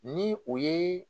Ni o ye